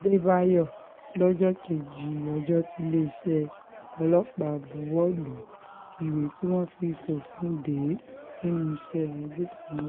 àdébáyò lọ́jọ́ kejì ọjọ́ tiléeṣẹ́ ọlọ́pàá buwọ́ lu um ìwé tí wọ́n fi fòfin dè é um nínú iṣẹ́ agbófinró